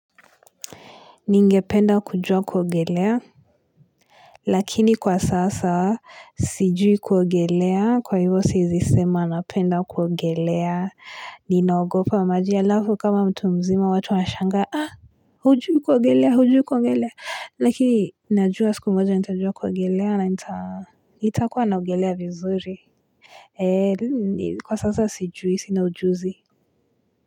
Ningependa kujua kuogelea. Lakini kwa sasa sijui kuogelea. Kwa hivyo siezi sema napenda kuogelea. Ninaogopa maji alafu kama mtu mzima watu wanashangaa. Ha! Hujui kuogelea! Hujui kuogelea! Lakini najua siku moja nitajua kuogelea na nitakuwa naogelea vizuri. Eee kwa sasa sijui sina ujuzi.